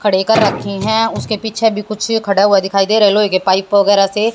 खड़े कर रखी हैं उसके पीछे भी कुछ खड़ा हुआ दिखाई दे रहा है लोहे के पाइप वगैरा से।